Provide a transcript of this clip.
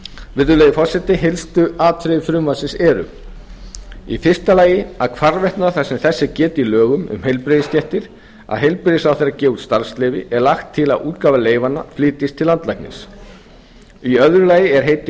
virðulegi forseti helstu atriði frumvarpsins eru fyrstu hvarvetna þar sem þess er getið í lögum um heilbrigðisstéttir að heilbrigðisráðherra gefi út starfsleyfi er lagt til að útgáfa leyfanna flytjist til landlæknis annars er heiti